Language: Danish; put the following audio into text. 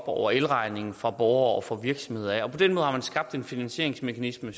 over elregningen fra borgere og fra virksomheder og på den måde har man skabt en finansieringsmekanisme